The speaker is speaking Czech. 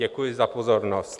Děkuji za pozornost.